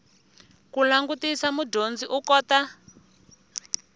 ku langutisa mudyondzi u kota